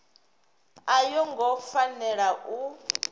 a yo ngo fanela u